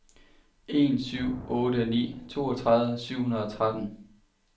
en syv otte ni toogtredive syv hundrede og tretten